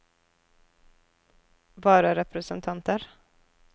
vararepresentanter